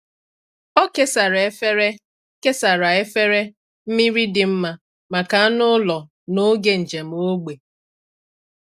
Ọ kesara efere kesara efere mmiri dị mma maka anụ ụlọ n’oge njem ógbè.